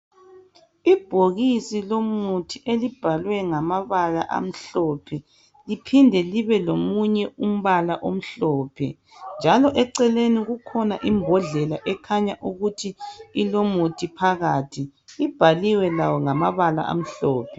Ibhokisi lomuthi elibhalwe ngamabala amhlophe liphinde libe komunye umbala omhlophe njalo eceleni kukhona imbodlela ekhanya ukuthi ilomuthi phakathi ibhaliwe layo ngamabala amhlophe